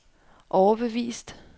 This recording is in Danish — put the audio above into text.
overbevist